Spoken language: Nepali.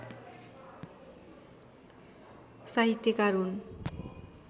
साहित्यकार हुन्